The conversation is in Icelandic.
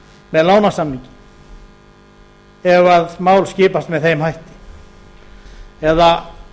með lánasamningi ef mál skipast með þeim hætti eða